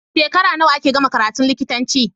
Shekara nawa ake gama karatun likitanci